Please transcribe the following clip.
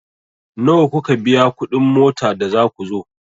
Nawa kuka biya kuɗin mota da za ku zo?